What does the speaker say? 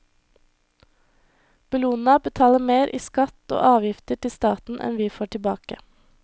Bellona betaler mer i skatt og avgifter til staten enn vi får tilbake.